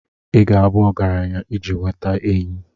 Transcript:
Ị ga-abụ ọgaranya iji nweta enyi.